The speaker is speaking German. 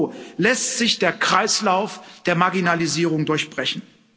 Nur so lässt sich der Kreislauf der Marginalisierung durchbrechen.